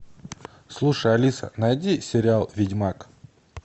слушай алиса найди сериал ведьмак